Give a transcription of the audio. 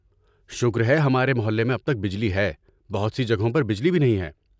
شکر ہے ہمارے محلے میں اب تک بجلی ہے، بہت سی جگہوں پر بجلی بھی نہیں ہے۔